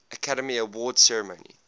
academy awards ceremony